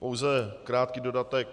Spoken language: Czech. Pouze krátký dodatek.